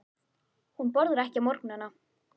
Hún borðar ekki á morgnana.